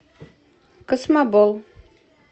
космобол